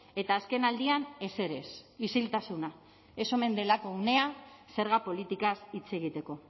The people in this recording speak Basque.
eta azkenaldian ezer ez isiltasuna ez omen delako unea zerga politikaz hitz egiteko